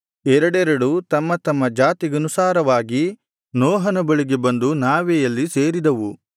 ಎರಡೆರಡು ತಮ್ಮ ತಮ್ಮ ಜಾತಿಗನುಸಾರವಾಗಿ ನೋಹನ ಬಳಿಗೆ ಬಂದು ನಾವೆಯಲ್ಲಿ ಸೇರಿದವು